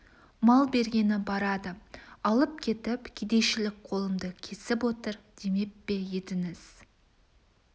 мал бергені барады алып кетіп кедейшілік қолымды кесіп отыр демеп пе едіңіз